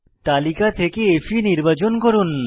তালিকা থেকে ফে নির্বাচন করুন